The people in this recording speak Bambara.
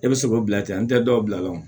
E bɛ se k'o bila ten an tɛ dɔw bila lo